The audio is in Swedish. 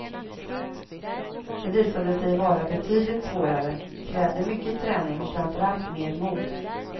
Det visade sig vara betydligt svårare, krävde mycket träning och framför allt mer mod.